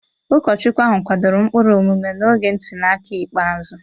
Ụkọchukwu ahụ kwadoro ụkpụrụ omume n'oge ntuli aka ikpeazụ.